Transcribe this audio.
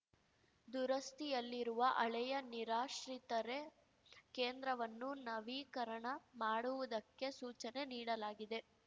ದುರಸ್ತಿಯಲ್ಲಿರುವ ಹಳೆಯ ನಿರಾಶ್ರಿತರೆ ಕೇಂದ್ರವನ್ನು ನವೀಕರಣ ಮಾಡುವುದಕ್ಕೆ ಸೂಚನೆ ನೀಡಲಾಗಿದೆ